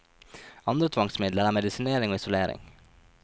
Andre tvangsmidler er medisinering og isolering.